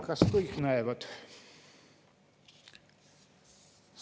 Kas kõik näevad?